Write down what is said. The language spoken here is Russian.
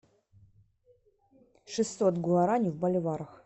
шестьсот гуарани в боливарах